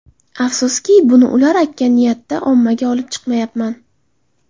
Afsuski, buni ular aytgan niyatda ommaga olib chiqmayapman.